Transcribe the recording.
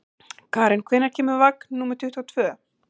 Karen, hvenær kemur vagn númer tuttugu og tvö?